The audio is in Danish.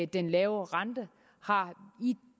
den lave rente i